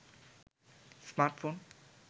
smartphone